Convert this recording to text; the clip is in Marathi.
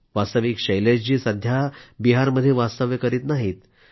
वास्तविक शैलेशजी सध्या बिहारमध्ये वास्तव्य करीत नाहीत